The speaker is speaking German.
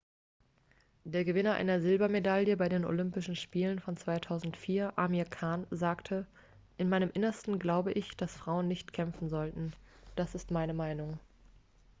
der gewinner einer silbermedaille bei den olympischen spielen von 2004 amir khan sagte in meinem innersten glaube ich dass frauen nicht kämpfen sollten das ist meine meinung